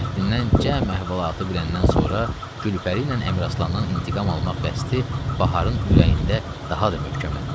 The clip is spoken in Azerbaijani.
Nurəddindən cəm əhvalatı biləndən sonra Gülpəri ilə Əmraslandan intiqam almaq qəsdi Baharın ürəyində daha da möhkəmləndi.